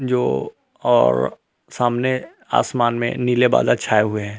जो और सामने आसमान में नीले बादा छाए हुए हैं।